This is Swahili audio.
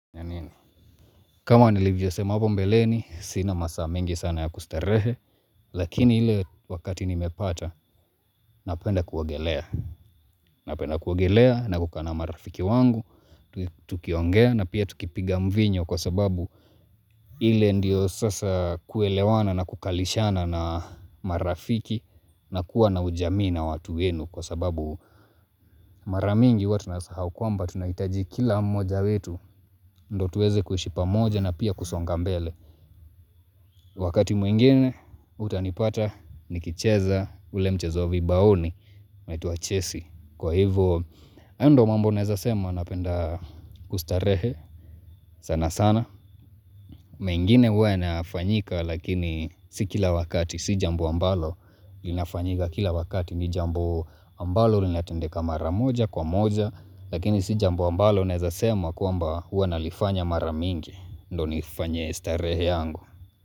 Kama nilivyosema hapo mbeleni sina masaa mingi sana ya kustarehe lakini ile wakati nimepata napenda kuogelea napenda kuogelea na kukaa na marafiki wangu tukiongea na pia tukipiga mvinyo kwa sababu ile ndio sasa kuelewana na kukaalishana na marafiki na kuwa na ujamii na watu wenu kwa sababu mara mingi huwa tunasahau kwamba tunahitaji kila mmoja wetu ndio tuweze kuishi pamoja na pia kusonga mbele Wakati mwingine utanipata nikicheza ule mchezo wa vibaoni unaituwa chesi Kwa hivo haya ndio mambo naeza sema napenda kustarehe sana sana mengine huwa yanafanyika lakini si kila wakati si jambo ambalo linafanyika kila wakati ni jambo ambalo linatendeka mara moja kwa moja lakini si jambo ambalo naeza sema kwamba huwa nalifanya mara mingi ndio nifanye starehe yangu.